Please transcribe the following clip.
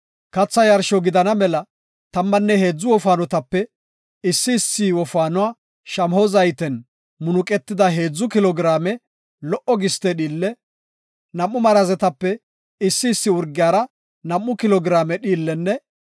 Katha yarsho gidana mela tammanne heedzu wofaanotape issi issi wofaanuwara shamaho zayten munuqetida heedzu kilo giraame lo77o giste dhiille, nam7u marazetape issi issi urgiyara nam7u kilo giraame dhiillenne